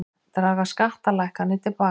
Draga skattalækkanir til baka